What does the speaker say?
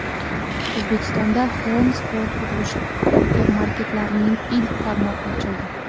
O‘zbekistonda Home Spot qurilish gipermarketlarining ilk tarmog‘i ochildi.